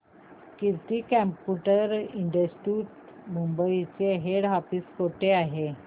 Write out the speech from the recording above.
कीर्ती computer institute Mumbai चे head office कुठे आहे